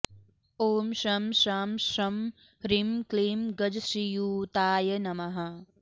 ॐ शं शां षं ह्रीं क्लीं गजश्रीयुताय नमः